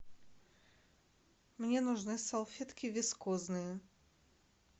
мне нужны салфетки вискозные